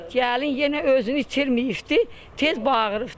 Gəlin yenə özünü itirməyibdir, tez bağırıbdır.